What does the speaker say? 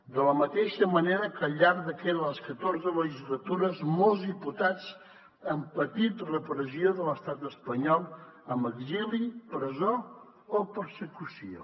de la mateixa manera que al llarg de les catorze legislatures molts diputats han patit repressió de l’estat espanyol amb exili presó o persecució